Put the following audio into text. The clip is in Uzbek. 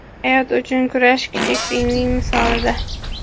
Hayot uchun kurash kichik pingvin misolida.